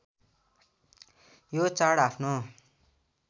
यो चाड आफ्नो